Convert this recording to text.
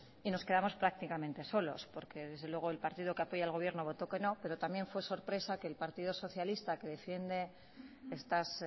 y nos quedamos prácticamente solos porque desde luego el partido que apoya al gobierno votó que no pero también fue sorpresa que el partido socialista que defiende estas